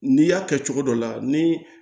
N'i y'a kɛ cogo dɔ la ni